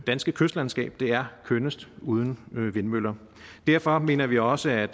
danske kystlandskab er kønnest uden vindmøller derfor mener vi også at